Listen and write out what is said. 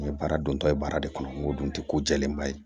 N ye baara don tɔ ye baara de kɔnɔ n ko don tɛ ko jɛlenba ye